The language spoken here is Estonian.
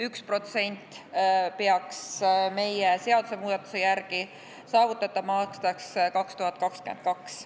1% peaks meie seadusemuudatuse järgi saavutatama aastaks 2022.